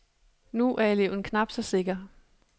Nu er eleven knap så sikker.